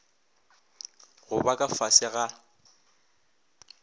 go ba ka fase ga